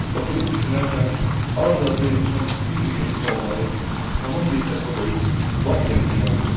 Oturub düşünərkən ard-arda yığışan bütün bu yeni sualları tamam bir tərəfə qoyub lap yenisini uydururdum.